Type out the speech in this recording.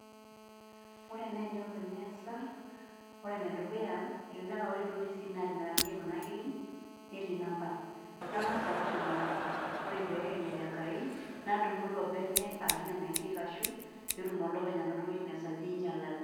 Ore naai enelo neeesa ore enedukuya elelek aa ore duo receipt naatimirakinyieki kuna kiri netii number nang'as aaosh nena amba pee ekenyu ejengai nadumu ilo bene ashu nena kirri ashuk pee etum olopeny' anoto witness ajo inyialate.